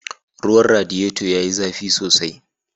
Ruwan radiyeto ya yi zafi sosai.